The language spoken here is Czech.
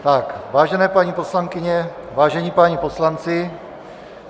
Vážené paní poslankyně, vážení páni poslanci.